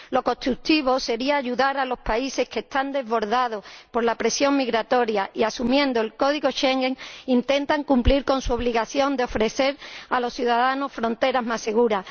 Lo constructivo sería ayudar a los países que están desbordados por la presión migratoria y que, asumiendo el Código Schengen, intentan cumplir con su obligación de ofrecer a los ciudadanos fronteras más seguras.